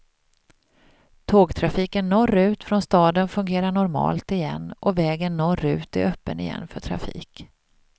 Tågtrafiken norrut från staden fungerar normalt igen och vägen norrut är öppen igen för trafik.